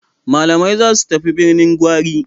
Malamai za su tafi Birnin Gwari.